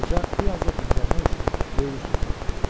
Qoca bir azca dincəlmək üçün böyürü üstə uzanmışdı.